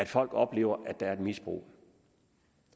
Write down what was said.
folk oplever at der er et misbrug